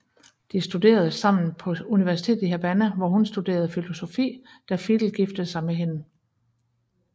De studerede sammen på universitetet i Havana hvor hun studerede filosofi da Fidel giftede sig med hende